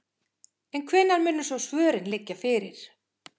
En hvenær munu svo svörin liggja fyrir?